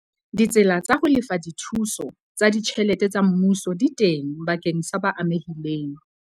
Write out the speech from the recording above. Ditsela tsa ho lefa dithuso tsa ditjhelete tsa mmuso di teng bakeng sa ba amehileng.